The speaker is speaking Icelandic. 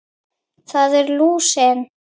Það er lúsin.